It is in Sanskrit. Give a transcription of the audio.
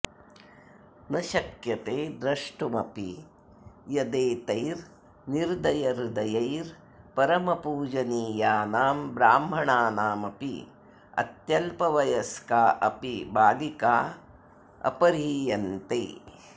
न शक्यते द्रष्टुमपि यदेतैर्निर्दयहृदयैः परमपूजनीयानां ब्राह्मणानामपि अत्यल्पवयस्का अपि बालिका अपह्रियन्ते